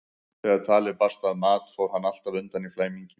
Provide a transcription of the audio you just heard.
Þegar talið barst að mat fór hann alltaf undan í flæmingi.